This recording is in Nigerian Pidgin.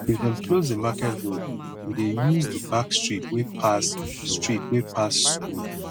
if dem close di market road we dey use di back street wey pass street wey pass skool